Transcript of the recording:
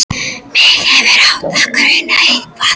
Mig hefði átt að gruna eitthvað.